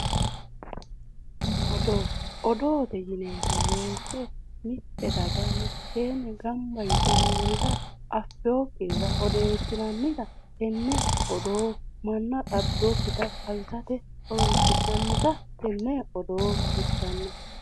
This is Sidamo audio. Odoo odoote yineemmo woyite mitte daga mitteenni gamba yite noorira affewokkirira odeessinannita tenne odoo mannaho xabbewokkita xawisate horoonsi'nannita tenne odoo xawissanno